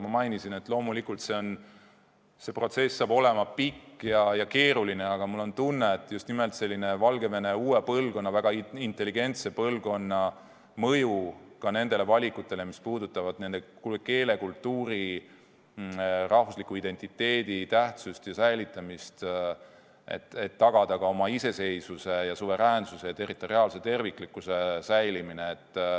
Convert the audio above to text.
Ma mainisin, et loomulikult see protsess saab olema pikk ja keeruline, aga mul on tunne, et just nimelt selline on Valgevene uue põlvkonna, väga intelligentse põlvkonna mõju ka nendele valikutele, mis puudutavad keele, kultuuri, rahvusliku identiteedi tähtsust ja säilitamist, et tagada ka oma iseseisvuse ja suveräänsuse, territoriaalse terviklikkuse säilimine.